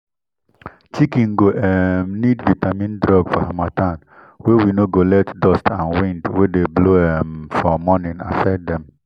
chiken go um need vitamin drug for harmattan wey no go let dust and wind wey dey blow um for morning affect them.